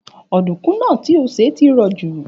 Ọ̀dùnkún náà ti o sè ti rọ̀ jù